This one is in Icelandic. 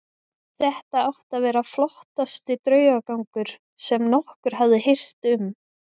Þetta átti að vera flottasti draugagangur sem nokkur hafði heyrt um.